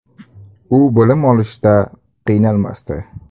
U bilim olishda qiynalmasdi.